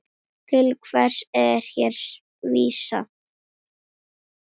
Til hverra er hér vísað?